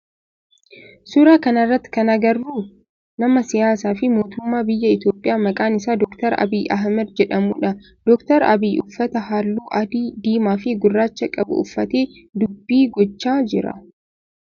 Suuraa kana irratti kan agarru nama siyaasaa fi mootummaa biyya Itiyoophiyaa maqaan isaa Dr. Abiyyi Ahimeed jedhamudha. Dr. Abiyyi uffata halluu adii, diimaa fi guraacha qabu uffatee dubbii gochaa jira.